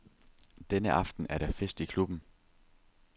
Denne aften er der fest i klubben.